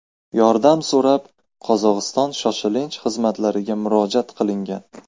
Yordam so‘rab, Qozog‘iston shoshilinch xizmatlariga murojaat qilingan.